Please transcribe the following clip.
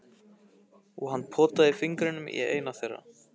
Og hann potaði fingrinum í eina þeirra.